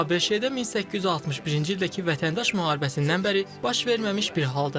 ABŞ-də 1861-ci ildəki Vətəndaş müharibəsindən bəri baş verməmiş bir haldır.